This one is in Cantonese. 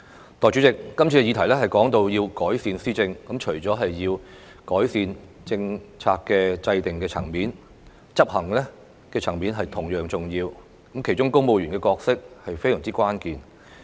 代理主席，今次涉及的議題是改善施政，這除了包括政策制訂層面的改善之外，執行層面也同樣重要，而當中公務員的角色可說非常關鍵。